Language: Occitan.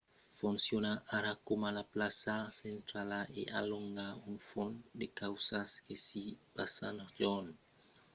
fonciona ara coma la plaça centrala e a de longa un fum de causas que s’i passan jorn e nuèch